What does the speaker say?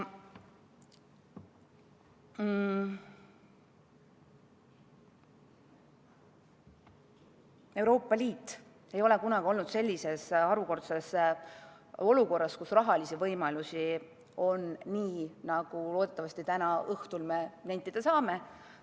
Euroopa Liit ei ole kunagi olnud sellises harukordses olukorras, kus rahalisi võimalusi on nii palju, nagu me loodetavasti täna õhtul nentida saame.